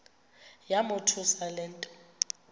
yamothusa le nto